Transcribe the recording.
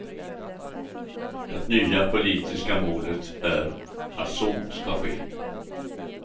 Det nya politiska målet är att så ska ske.